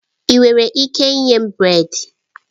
Ị nwere ike ime brèd?